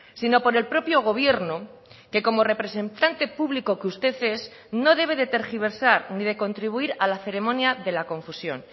sino por el propio gobierno que como representante público que usted es no debe de tergiversar ni de contribuir a la ceremonia de la confusión